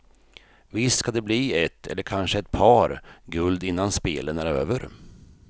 Visst ska det bli ett, eller kanske ett par, guld innan spelen är över.